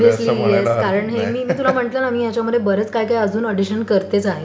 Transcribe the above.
Obviously yes. कारण हे मी तुला म्हंटलं ना मी याच्यात बरंच काही काही अडिशन करतेच आहे.